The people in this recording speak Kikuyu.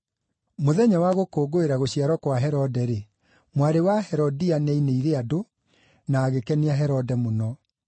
Mũthenya wa gũkũngũĩra gũciarwo kwa Herode-rĩ, mwarĩ wa Herodia nĩainĩire andũ, na agĩkenia Herode mũno.